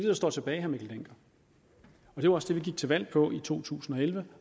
der står tilbage og det var også det vi gik til valg på i to tusind og elleve